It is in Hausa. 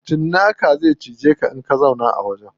Cinnaka zai cije ka idan ka zauna a wajen.